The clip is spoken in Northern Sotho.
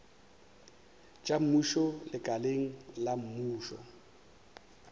tša mmušo lekaleng la mmušo